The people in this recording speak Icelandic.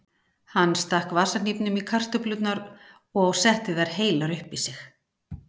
Hann stakk vasahnífnum í kartöflurnar og setti þær heilar upp í sig.